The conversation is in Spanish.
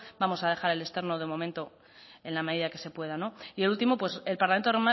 vamos a dejar el externo de momento en la medida que se pueda y el último el parlamento